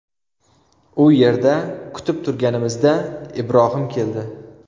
U yerda kutib turganimizda Ibrohim keldi.